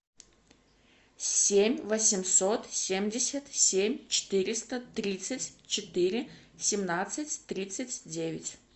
семь восемьсот семьдесят семь четыреста тридцать четыре семнадцать тридцать девять